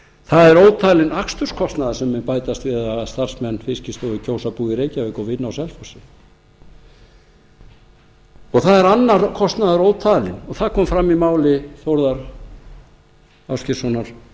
það er ótalinn aksturskostnaður sem mun bætast við ef starfsmenn fiskistofu kjósa að búa í reykjavík og vinna á selfossi og það er annar kostnaður ótalinn og það kom fram í máli þórðar ásgeirssonar